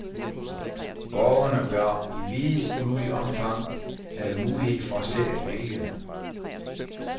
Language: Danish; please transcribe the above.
Borgerne bør i videst mulig omfang have mulighed for selv at vælge.